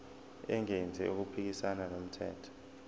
engenzi okuphikisana nomthetho